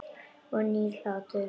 Nýr hlátur.